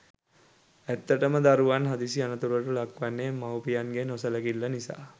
ඇත්තටම දරුවන් හදිසි අනතුරුවලට ලක්වන්නේ මවුපියන්ගේ නොසැලකිල්ල නිසා.